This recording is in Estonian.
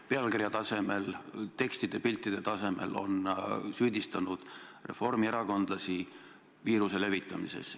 Pealkirja tasemel, tekstide ja piltide tasemel on süüdistatud reformierakondlasi viiruse levitamises.